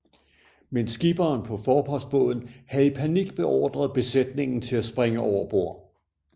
Men skipperen på forpostbåden havde i panik beordret besætningen til at springe over bord